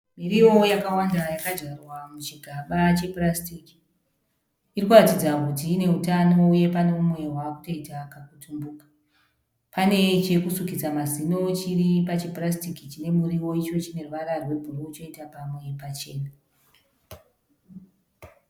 Miriwo yakavanda yakadyarwa muchigaba chepurasitiki. Irikuratidza kuti une utano uye mumwe wavakutoita kakutumbuka. Pane chekusukisa mazino chiripachipurasitiki chinemuriwo icho chineruvara rwebhuruwu choita pamwe pachena.